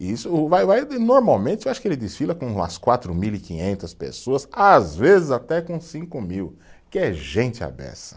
E isso, o vai-vai, normalmente, eu acho que ele desfila com umas quatro mil e quinhentas pessoas pessoas, às vezes até com cinco mil, que é gente à beça.